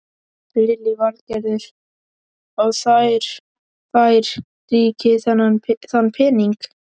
Lillý Valgerður: Og þær fær ríkið þann pening?